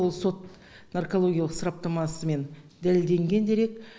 ол сот наркологиялық сараптамысымен дәлелденген дерек